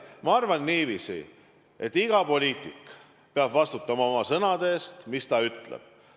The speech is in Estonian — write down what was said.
Ma arvan niiviisi, et iga poliitik peab vastutama oma sõnade eest, mis ta ütleb.